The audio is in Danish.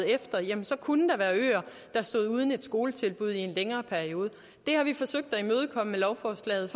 efter kunne der være øer der stod uden et skoletilbud i en længere periode det har vi forsøgt at imødekomme med lovforslaget